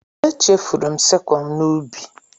Echefuru m sikụl n'ubi.